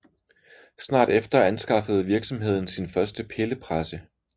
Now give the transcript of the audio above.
Snart efter anskaffede virksomheden sin første pillepresse